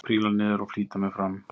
Príla niður og flýti mér fram.